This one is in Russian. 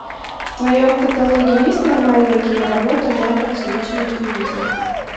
в твоем каталоге есть нормальная киноработа жанра циничная комедия